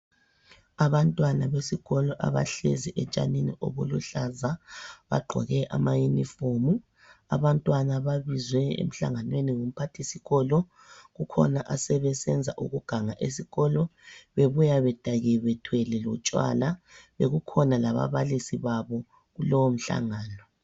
Abantwana besikolo abahlezi etshanini obuluhlaza, bagqoke ama uniform. Abantwana babizwe emhlanganweni ngumphathisikolo, kukhona asebesenza ukuganga esikolo, bebuya bedakiwe bethwele lotshwala. Bekukhona lababalisi babo kulowo mhlangano.